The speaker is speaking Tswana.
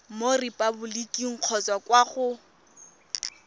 mo repaboliking kgotsa kwa go